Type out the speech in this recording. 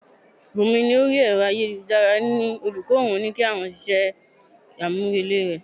Bunmi ní orí Ẹ̀rọ ayélujára ni olùkọ́ òun ti ní kí wọ́n ṣe iṣẹ́ amurele náà.